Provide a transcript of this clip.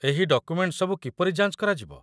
ଏହି ଡକୁମେଣ୍ଟ ସବୁ କିପରି ଯାଞ୍ଚ କରାଯିବ?